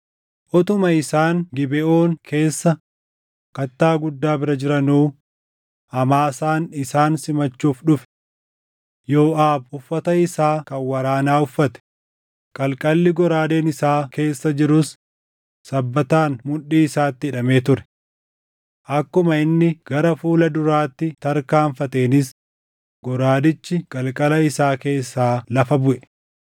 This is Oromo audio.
Utuma isaan Gibeʼoon keessa kattaa guddaa bira jiranuu Amaasaan isaan simachuuf dhufe. Yooʼaab uffata isaa kan waraanaa uffate; qalqalli goraadeen isaa keessa jirus sabbataan mudhii isaatti hidhamee ture. Akkuma inni gara fuula duraatti tarkaanfateenis goraadichi qalqala isaa keessaa lafa buʼe.